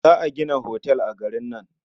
Za a gina otal a garin nan.